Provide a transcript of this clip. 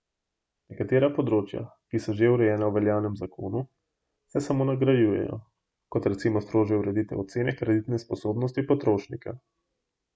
Nekatera področja, ki so že urejena v veljavnem zakonu, se samo nadgrajujejo, kot recimo strožja ureditev ocene kreditne sposobnosti potrošnika.